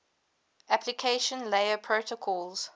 application layer protocols